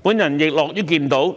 我亦樂於看到，